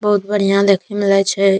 बहुत बढ़िया देखे मे लागे छै।